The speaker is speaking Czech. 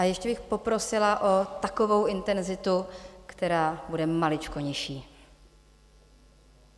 A ještě bych poprosila o takovou intenzitu, která bude maličko nižší.